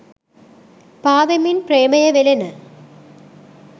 පා වෙමින් ප්‍රේමයේ වෙළෙන